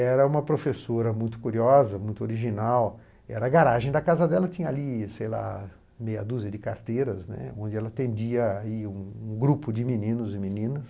Era uma professora muito curiosa, muito original, era a garagem da casa dela, tinha ali, sei lá, meia dúzia de carteiras, né, onde ela atendia um grupo de meninos e meninas.